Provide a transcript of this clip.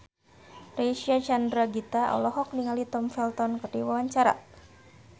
Reysa Chandragitta olohok ningali Tom Felton keur diwawancara